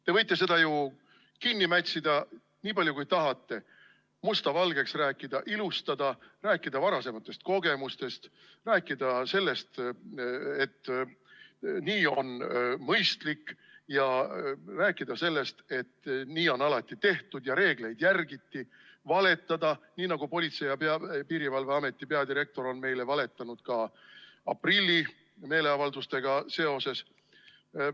Te võite seda ju kinni mätsida nii palju, kui tahate, musta valgeks rääkida, ilustada, rääkida varasematest kogemustest, rääkida sellest, et nii on mõistlik, ja rääkida sellest, et nii on alati tehtud ja reegleid järgitud, valetada, nii nagu Politsei‑ ja Piirivalveameti peadirektor on meile valetanud ka aprilli meeleavaldustega seoses.